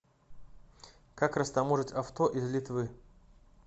как растаможить авто из литвы